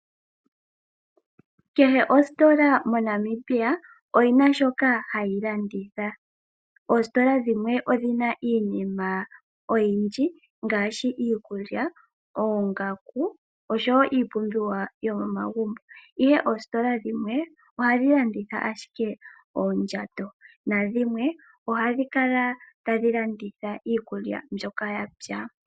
Kehe ositola moNamibia oyi na shoka hayi landitha, oositola dhimwe odhi na iinima oyindji ngaashi iikulya, oongaku noshowo iipumbiwa yomomagumbo, ihe oositola dhimwe ohadhi landitha ashike oondjato, nadhimwe ohadhi kala tadhi landitha iikulya mbyoka ya pya.